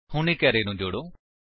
ਹੁਣ ਇੱਕ ਅਰੇ ਨੂੰ ਜੋੜੋ